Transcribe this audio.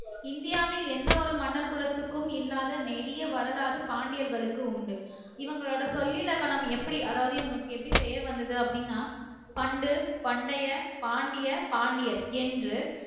இந்தியாவில் எந்த ஒரு மன்னர் குலத்துக்கும் இல்லாத நெடிய வரலாறு பாண்டியர்களுக்கு உண்டு இவங்களோட சொல் இலக்கணம் எப்படி அதாவது இவங்களுக்கு எப்படி பெயர் வந்தது அப்படின்னா பண்டு பண்டைய பாண்டிய பாண்டியர் என்று